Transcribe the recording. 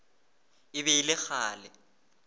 e be e le kgale